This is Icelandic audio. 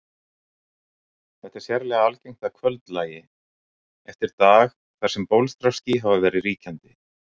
Þetta er sérlega algengt að kvöldlagi eftir dag þar sem bólstraský hafa verið ríkjandi.